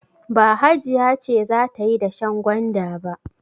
Ba Hajiya ce za ta yi dashen gwanda ba.